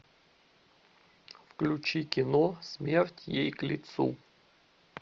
включи кино смерть ей к лицу